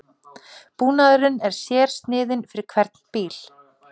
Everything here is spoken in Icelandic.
Búnaðurinn er sérsniðinn fyrir hvern bíl